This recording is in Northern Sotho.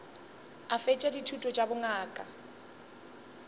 a fetša dithuto tša bongaka